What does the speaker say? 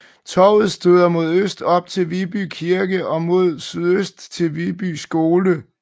Torvet støder mod øst op til Viby Kirke og mod sydøst til Viby Skole